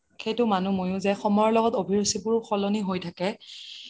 সেইটো মইও মানে যে সময়ৰ লগত অভিৰুচি বোৰও সলনি হয় থাকে